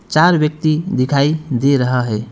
चार व्यक्ति दिखाई दे रहा है।